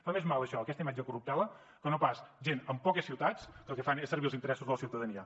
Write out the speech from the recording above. fa més mal això aquesta imatge de corruptela que no pas gent en poques ciutats que el que fan és servir els interessos de la ciutadania